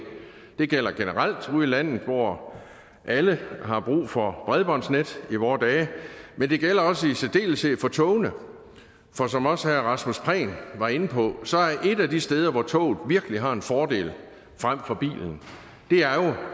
det gælder generelt ude i landet hvor alle har brug for bredbåndsnet i vore dage men det gælder også i særdeleshed på togene for som også herre rasmus prehn var inde på er et af de steder hvor toget virkelig har en fordel frem for bilen